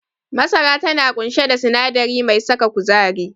Masara tana ƙunshe da sinadari mai saka kuzari.